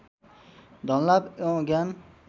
धनलाभ एवम् ज्ञान